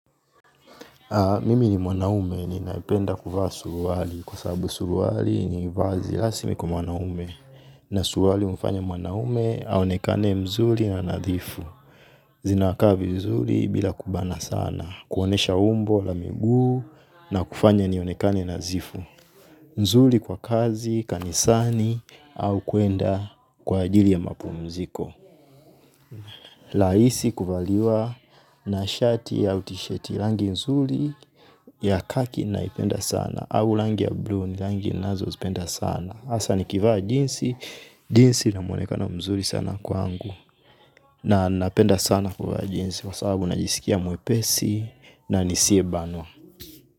Mimi ni mwanaume ninapenda kuvaa suruali kwa sababu suruali ni vazi rasmi kwa mwanaume na suruali humfanya mwanaume aonekane mzuri na nadhifu. Zinakaa vizuri bila kubana sana. Kuonyesha umbo la miguu na kufanya nionekane nadhifu. Nzuri kwa kazi, kanisani au kuenda kwa ajili ya mapumziko rahisi kuvaliwa na shati au tishati rangi nzuri ya khaki naipenda sana au rangi ya bluu ni langi ninazozipenda sana hasa nikivaa jeans, jeans ina mwonekano mzuri sana kwangu. Na napenda sana kuvaa jinzi kwa sababu najisikia mwepesi na nisiyebanwa.